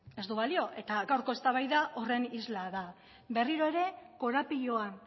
ez du balio eta gaurko eztabaida horren isla da berriro ere korapiloan